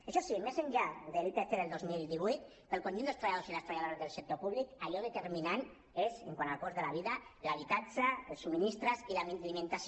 això sí més enllà de l’ipc del dos mil divuit pel conjunt dels treballadors i les treballadores del sector públic allò determinant és quant al cost de la vida l’habitatge els subministraments i l’alimentació